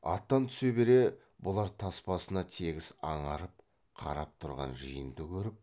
аттан түсе бере бұлар тас басына тегіс аңырып қарап тұрған жиынды көріп